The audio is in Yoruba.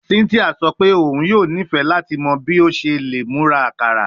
Cynthia sọ pe oun yoo nifẹ lati mọ bi o ṣe le mura akara